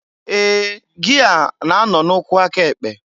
Ee! Gia na-anọ n'ukwu aka ekpe?